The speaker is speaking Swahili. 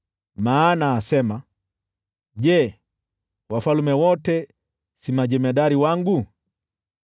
Maana asema, ‘Je, wafalme wote si majemadari wangu?